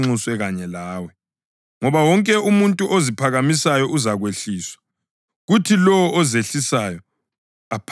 Ngoba wonke umuntu oziphakamisayo uzakwehliswa, kuthi lowo ozehlisayo aphakanyiswe.”